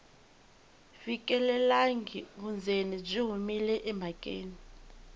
fikelelangi vundzeni byi humile emhakeni